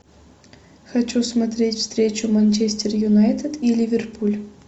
хочу смотреть встречу манчестер юнайтед и ливерпуль